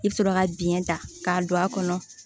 I bɛ sɔrɔ ka biɲɛ ta k'a don a kɔnɔ